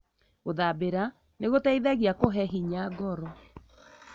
Gũthambira nĩgũteithagia kũhe hinya ngoro.